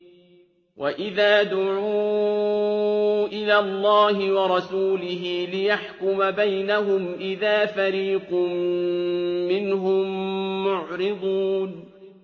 وَإِذَا دُعُوا إِلَى اللَّهِ وَرَسُولِهِ لِيَحْكُمَ بَيْنَهُمْ إِذَا فَرِيقٌ مِّنْهُم مُّعْرِضُونَ